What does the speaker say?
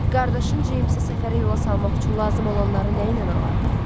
Qardaşın Cemsi səfərə yola salmaq üçün lazım olanları nəyinə alardıq?